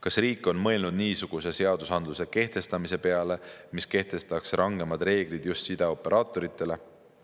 Kas riik on mõelnud niisuguse seadusandluse kehtestamise peale, mis kehtestataks rangemad reeglid just sideoperaatoritele?